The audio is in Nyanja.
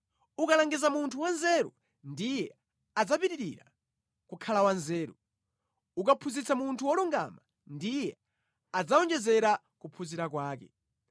Ukalangiza munthu wanzeru ndiye adzapitirira kukhala wanzeru; ukaphunzitsa munthu wolungama ndiye adzawonjezera kuphunzira kwake.